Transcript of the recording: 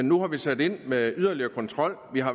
nu sat ind med yderligere kontrol vi har